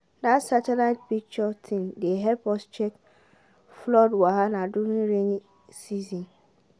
that satellite picture thing dey help us check flood wahala during rain season.